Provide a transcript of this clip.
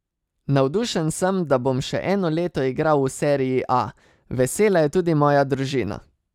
Navdušen sem, da bom še eno leto igral v serii A, vesela je tudi moja družina.